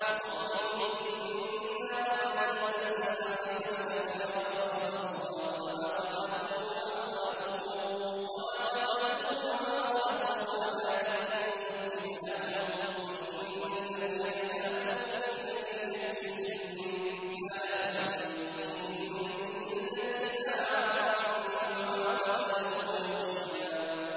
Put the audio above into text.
وَقَوْلِهِمْ إِنَّا قَتَلْنَا الْمَسِيحَ عِيسَى ابْنَ مَرْيَمَ رَسُولَ اللَّهِ وَمَا قَتَلُوهُ وَمَا صَلَبُوهُ وَلَٰكِن شُبِّهَ لَهُمْ ۚ وَإِنَّ الَّذِينَ اخْتَلَفُوا فِيهِ لَفِي شَكٍّ مِّنْهُ ۚ مَا لَهُم بِهِ مِنْ عِلْمٍ إِلَّا اتِّبَاعَ الظَّنِّ ۚ وَمَا قَتَلُوهُ يَقِينًا